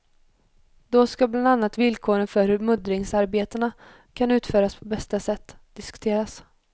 Då ska bland annat villkoren för hur muddringsarbetena kan utföras på bästa sätt diskuteras.